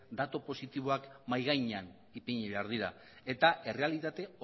datu positiboak ere mahai gainean jarri behar dira eta errealitate